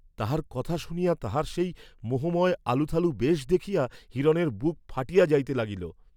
তাহার কথা শুনিয়া তাহার সেই মোহময় আলুথালু বেশ দেখিয়া হিরণের বুক ফাটিয়া যাইতে লাগিল।